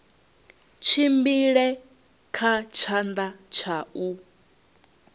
tshimbile kha tshanḓa tsha u